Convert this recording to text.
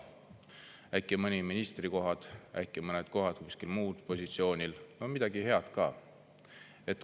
Äkki mõned ministrikohad, äkki mõned kohad kuskil muul positsioonil, no midagi head ka.